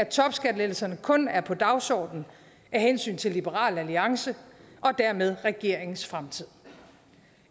topskattelettelserne kun er på dagsordenen af hensyn til liberal alliance og dermed regeringens fremtid